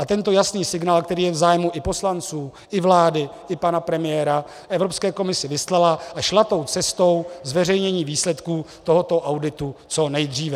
A tento jasný signál, který je v zájmu i poslanců, i vlády, i pana premiéra Evropské komisi vyslala a šla tou cestou zveřejnění výsledků tohoto auditu co nejdříve.